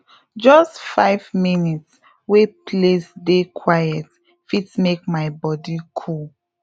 just five minutes wey place dey quiet fit make my body cool